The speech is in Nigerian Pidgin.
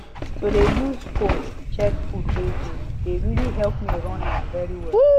to dey use phone check food wey good dey really help me run am very well